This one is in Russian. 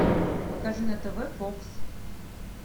покажи на тв фокс